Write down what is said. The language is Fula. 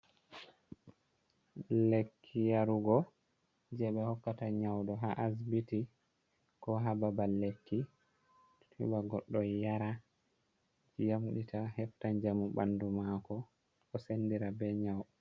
Lekki yarugo je ɓe hokkata nyauɗo ha asbiti ko ha babal lekki, heɓa goɗɗo yara yamdita hefta njamu ɓandu mako o sendira be nyaud.